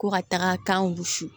Ko ka taga kan wusu